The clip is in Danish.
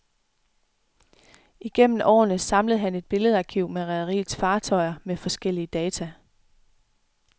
Igennem årene samlede han et billedarkiv med rederiets fartøjer med forskellige data.